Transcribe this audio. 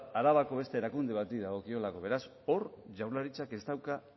arabako beste erakunde bati dagokiolako beraz hor jaurlaritzak ez dauka